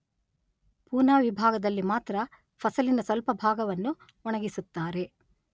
ಪೂನಾ ವಿಭಾಗದಲ್ಲಿ ಮಾತ್ರ ಫಸಲಿನ ಸ್ವಲ್ಪ ಭಾಗವನ್ನು ಒಣಗಿಸುತ್ತಾರೆ.